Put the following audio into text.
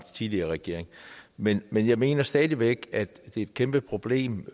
tidligere regering men men jeg mener stadig væk at det er et kæmpeproblem